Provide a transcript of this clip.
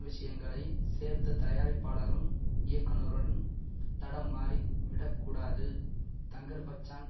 விஷயங்களை சேர்த்து தயாரிப்பாளரும் இயக்குனரும் தடம் மாறிவிடக்கூடாது தங்கர்பச்சான்